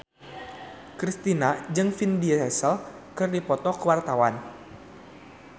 Kristina jeung Vin Diesel keur dipoto ku wartawan